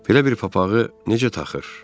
Belə bir papağı necə taxır?